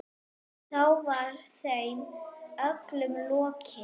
Þá var þeim öllum lokið.